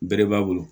Bere b'a bolo